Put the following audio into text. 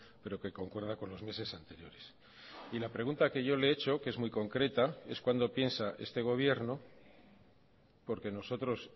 pero que concuerda con los meses anteriores y la pregunta que yo le he hecho que es muy concreta es cuándo piensa este gobierno porque nosotros